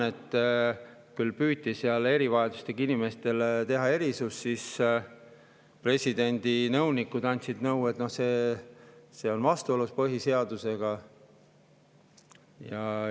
Seal küll püüti teha erivajadustega inimestele erisust, aga siis presidendi nõunikud andsid nõu, et see on vastuolus põhiseadusega.